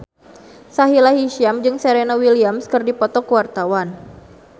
Sahila Hisyam jeung Serena Williams keur dipoto ku wartawan